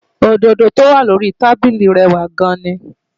Òdòdó tó wà lórí i tábíli rẹwà gan-an ni